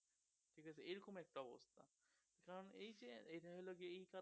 কারণ এইযে ইটা হলো গিয়ে